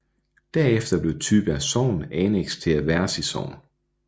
Derefter blev Tybjerg Sogn anneks til Aversi Sogn